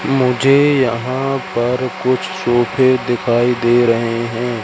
मुझे यहां पर कुछ सोफे दिखाई दे रहे हैं।